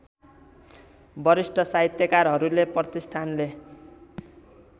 वरिष्ठ साहित्यकारहरूले प्रतिष्ठानले